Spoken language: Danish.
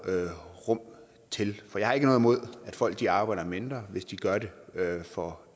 rum til for jeg har ikke noget imod at folk arbejder mindre hvis de gør det for